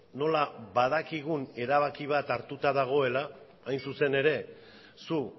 nola badakigun erabaki bat hartuta dagoela hain zuzen ere zu